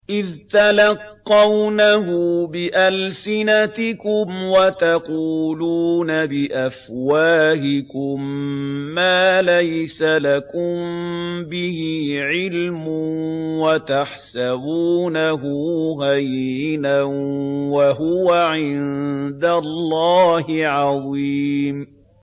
إِذْ تَلَقَّوْنَهُ بِأَلْسِنَتِكُمْ وَتَقُولُونَ بِأَفْوَاهِكُم مَّا لَيْسَ لَكُم بِهِ عِلْمٌ وَتَحْسَبُونَهُ هَيِّنًا وَهُوَ عِندَ اللَّهِ عَظِيمٌ